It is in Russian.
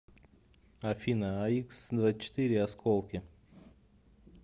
афина аиксдвадцатьчетыре осколки